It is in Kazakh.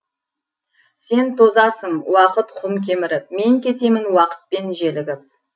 сен тозасың уақыт құм кеміріп мен кетемін уақытпен желігіп